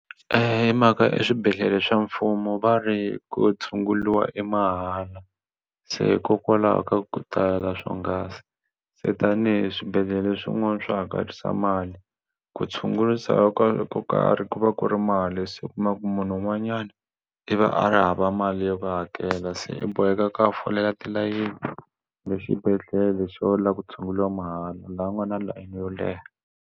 Hi mhaka i swibedhlele swa mfumo va ri ku tshunguriwa i mahala se hikokwalaho ka ku swonghasi se tanihi swibedhlele swin'wana swa hakerisa mali ku tshungurisa ku ko karhi ku va ku ri mali se u kuma ku munhu un'wanyana i va a ri hava mali yo hakela se i boheka ku ya folela tilayini le xibedhlele xo lava ku tshunguriwa mahala laha u nga na layeni yo leha.